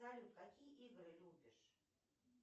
салют какие игры любишь